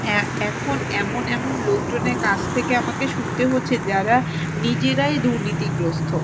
এ~ এখন এমন এমন লোকজনের কাছ থেকে আমাকে শুনতে হচ্ছে যারা নিজেরাই দুর্নীতিগ্রস্থ।